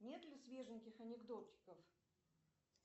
нет ли свеженьких анекдотиков